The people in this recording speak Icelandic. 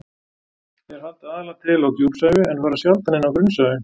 Þeir halda aðallega til á djúpsævi en fara sjaldan inn á grunnsævi.